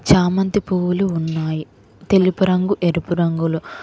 చామంతి పువ్వులు ఉన్నాయి తెలుపు రంగు ఎరుపు రంగులో